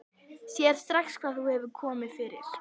Sér strax hvað hefur komið fyrir.